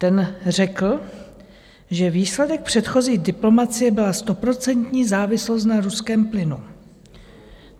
Ten řekl, že výsledek předchozí diplomacie byla stoprocentní závislost na ruském plynu.